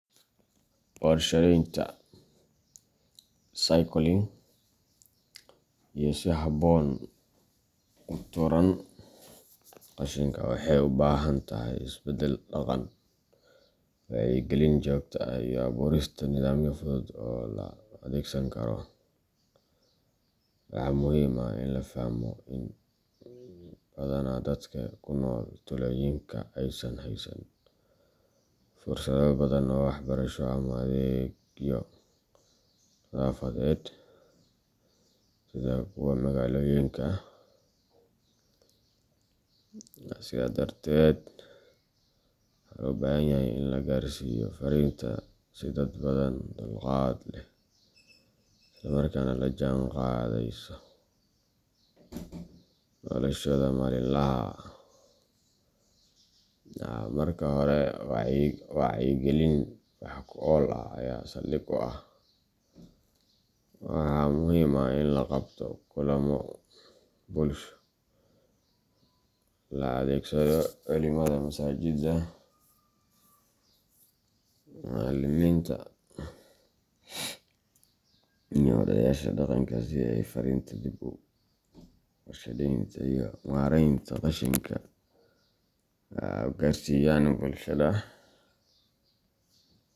Warshadaynta recycling iyo si habboon u tuuraan qashinka waxay u baahan tahay isbeddel dhaqan, wacyigelin joogto ah, iyo abuurista nidaamyo fudud oo la adeegsan karo. Waxaa muhiim ah in la fahmo in badanaa dadka ku nool tuulooyinka aysan haysan fursado badan oo waxbarasho ama adeegyo nadaafadeed sida kuwa magaalooyinka, sidaa darteed, waxaa loo baahan yahay in la gaarsiiyo fariinta si dadban, dulqaad leh, isla markaana la jaanqaadaysa noloshooda maalinlaha ah. Marka hore, wacyigelin wax ku ool ah ayaa saldhig u ah. Waxaa muhiim ah in la qabto kulamo bulsho, la adeegsado culimada masaajidda, macallimiinta, iyo odayaasha dhaqanka si ay farriinta dib u warshadaynta iyo maaraynta qashinka u gaarsiiyaan bulshada.